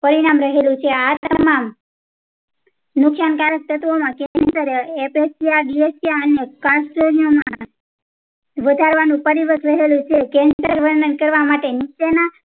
પરિણામ રહેલું છે આ પ્રકાર ના નુકશાન કારક તત્વો ના apresia depresia અને canesten દેખાડવાનું પરિવર્તન રહેલું છે cancer વર્ણન કરવા માટે નીચે ના